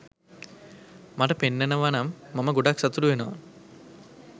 මට පෙන්නනවනම් මම ගොඩක් සතුටු වෙනවා